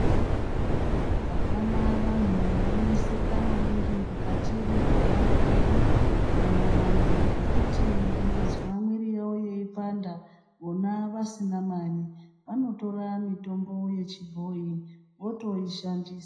Hapana vantu vanoneseka maningi mukati mwekugara kwedu. Maererano ngekuti vangazwa mwiri yavo ipanda vona vasina mari, vanotora mitombo yechibhoi votoishandisa.